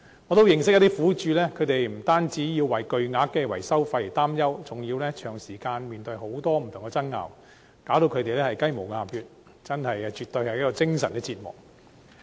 我認識一些苦主，他們不單要為巨額的維修費用擔憂，還要長時間面對不同爭拗，令他們"雞毛鴨血"，絕對是精神折磨。